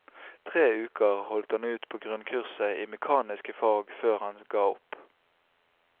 Tre uker holdt han ut på grunnkurset i mekaniske fag før han ga opp.